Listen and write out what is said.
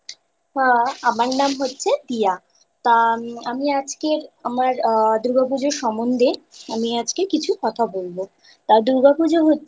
আ আমার নাম হচ্ছে দিয়া তা আমি আজকের আমার আ দুর্গাপূজা সমন্ধে আমি আজকে কিছু কথা বলবো। তা দুর্গাপুজো